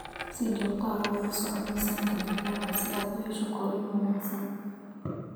Si joogto ah ula soco miisaanka digaaga si aad u hesho korriin wanaagsan.